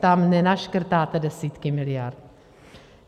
Tam nenaškrtáte desítky miliard.